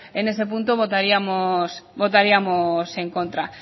en ese punto votaríamos en contra